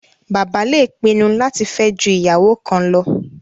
Bàbá le pinnu láti fẹ́ ju ìyàwó kan lọ